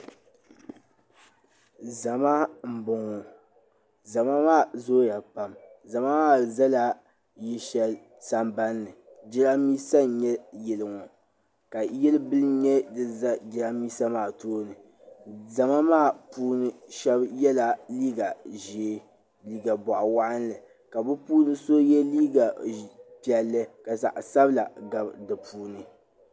Zama n bɔŋɔ zama maa zooya pam zama maa zala yili shɛli samban ni jɛrambisa n nyɛ yili ŋɔ ka yili bila nyɛ din za jɛrambisa tooni zama maa puuni shɛba yɛlla liiga ʒee liiga bɔɣu waɣinli ka bɛ puuni so yɛ liiga piɛlli ka zaɣi sabila gabi di puuni.